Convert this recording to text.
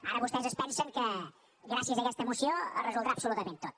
ara vostès es pensen que gràcies a aquesta moció es resoldrà absolutament tot